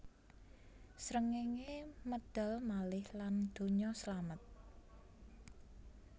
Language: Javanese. Srengéngé medal malih lan donya slamet